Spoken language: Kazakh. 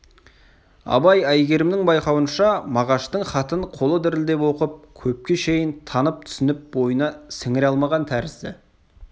абай әйгерімнің байқауынша мағаштың хатын қолы дірілдеп оқып көпке шейін танып түсініп бойына сіңіре алмаған тәрізді